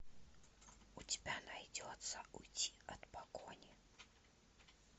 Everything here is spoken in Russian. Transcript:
у тебя найдется уйти от погони